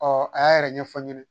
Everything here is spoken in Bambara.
Ɔ a y'a yɛrɛ ɲɛfɔ n ye